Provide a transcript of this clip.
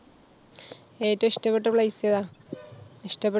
ഏറ്റവും ഇഷ്ടപെട്ട place ഏതാ? ഇഷ്ട്ടപെ